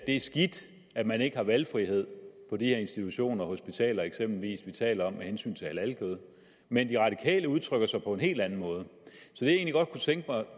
er skidt at man ikke har valgfrihed på de her institutioner hospitaler eksempelvis vi taler om med hensyn til halalkød men de radikale udtrykker sig på en anden måde